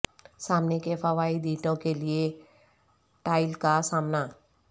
سامنے کے فوائد اینٹوں کے لئے ٹائل کا سامنا